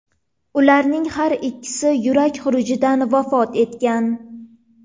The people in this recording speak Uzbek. Ularning har ikkisi yurak xurujidan vafot etgan.